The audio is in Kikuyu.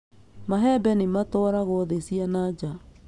Mahembe nĩ matwaragwo thĩ cia nanja